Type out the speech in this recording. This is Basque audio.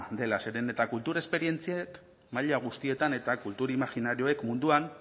dela zeren eta kultur esperientziek maila guztietan eta kultur imajinarioak munduan